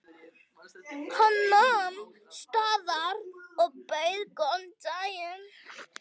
Hann nam staðar og bauð góðan dag.